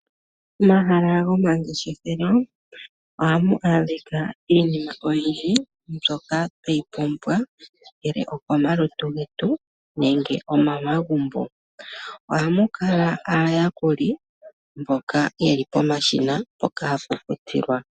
Momahala gomangeshefelo ohamu adhika iinima oyindji mbyoka tweyi pumbwa ongele komalutu getu nenge omomagumbo. Ohamu kala aayakuli mboka yeli pomashina mpoka hapu futilwa.